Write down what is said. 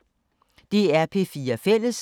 DR P4 Fælles